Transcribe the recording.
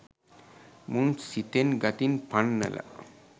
මුන් සිතෙන් ගතින් පන්නල